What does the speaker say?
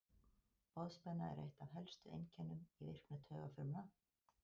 Boðspenna er eitt af helstu einkennum í virkni taugafrumna.